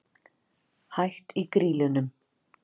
Hætt í Grýlunum?